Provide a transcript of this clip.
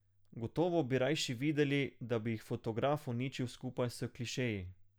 Gotovo bi rajši videli, da bi jih fotograf uničil skupaj s klišeji.